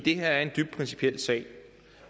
er en dybt principiel sag